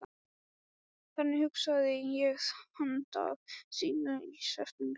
Þannig hugsaði ég þennan dag síðla í september.